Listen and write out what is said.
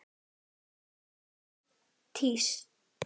Er komið nýtt tíst?